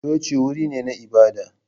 Coci wuri ne na ibada.